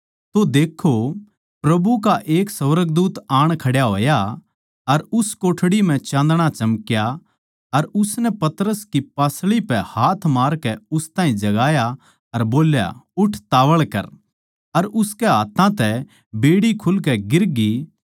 तो देक्खो प्रभु का एक सुर्गदूत आण खड्या होया अर उस कोठड़ी म्ह चाँदणा चमक्या अर उसनै पतरस की पासळी पै हाथ मारकै उस ताहीं जगाया अर बोल्या उठ तावळ कर अर उसकै हाथ्थां तै बेड़ी खुलकै गिरगी